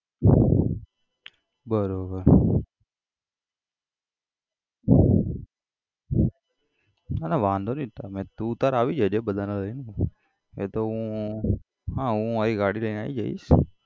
બરોબર ના ના વાંધો નઈ તુ તારે આવી જજે બધાને લઈ એતો હું હા હું મારી ગાડી લઈને આઈ જઈસ.